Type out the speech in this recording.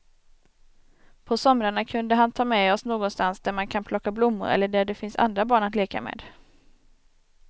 På somrarna kunde han ta med oss någonstans där man kan plocka blommor eller där det finns andra barn att leka med.